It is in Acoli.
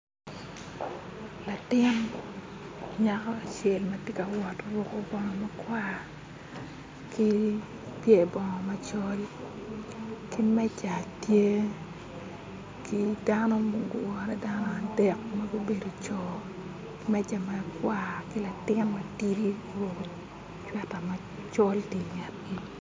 Latin nyako acel ma tye ka wot oruko bongo makwar ki pyer bongo macol ki meja tye ki dano ma gugure dano adek magubedo co meja makwar ki latin matidi oruko cweta macol tye ingetgi